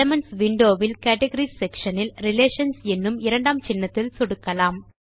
elements window வில் categories section இல் relations எனும் இரண்டாம் சின்னத்தில் சொடுக்கலாம்